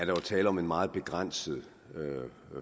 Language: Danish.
jo tale om en meget begrænset